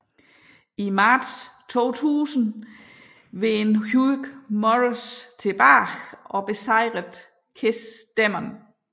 I marts 2000 vendte Hugh Morrus tilbage og besejrede KISS Demon